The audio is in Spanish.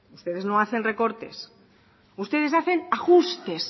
ustedes no hacen recortes ustedes hacen ajustes